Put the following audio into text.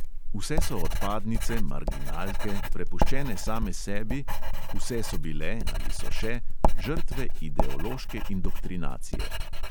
Vse so odpadnice, marginalke, prepuščene same sebi, vse so bile – ali so še – žrtve ideološke indoktrinacije.